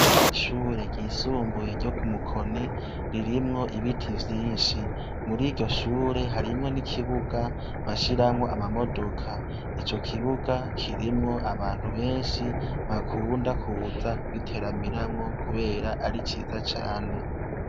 Ishure ryisumbuye ryo ku Mukoni ririmwo ibiti vyinshi. Muri iryo shure harimwo n'ikibuga bashiramwo amamodoka. Ico kibuga kirimwo abantu benshi bakunda kuza kugiteramiramwo kubera ari ciza cane.